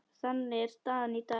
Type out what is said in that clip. Þannig er staðan í dag.